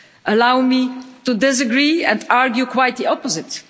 Allow me to disagree and argue quite the opposite.